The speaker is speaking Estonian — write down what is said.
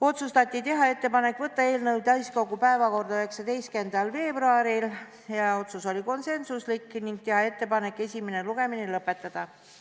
Otsustati teha ettepanek saata eelnõu täiskogu päevakorda 19. veebruariks ning teha ettepanek esimene lugemine lõpetada.